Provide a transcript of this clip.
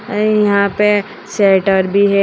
और यहां पे शटर भी है।